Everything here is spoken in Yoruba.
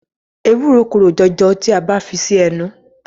Ewúro korò jọjọ tí a bá fi sí ẹnu.